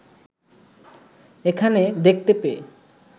এখানে দেখতে পেয়ে